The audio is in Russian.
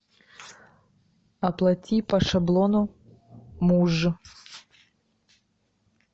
оплати по шаблону муж